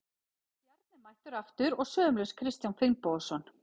Bjarni er mættur aftur og sömuleiðis Kristján Finnbogason.